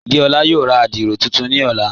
Déọla yóò rá àdírò tuntun ni ọ̀lá..